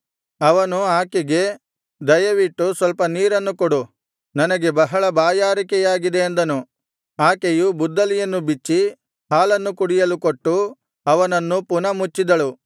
ಅವನು ಆಕೆಗೆ ದಯವಿಟ್ಟು ಸ್ವಲ್ಪ ನೀರನ್ನು ಕೊಡು ನನಗೆ ಬಹಳ ಬಾಯಾರಿಕೆಯಾಗಿದೆ ಅಂದನು ಆಕೆಯು ಬುದ್ದಲಿಯನ್ನು ಬಿಚ್ಚಿ ಹಾಲನ್ನು ಕುಡಿಯಲು ಕೊಟ್ಟು ಅವನನ್ನು ಪುನಃ ಮುಚ್ಚಿದಳು